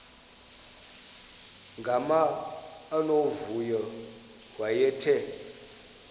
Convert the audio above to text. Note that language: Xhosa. gama unomvuyo wayethe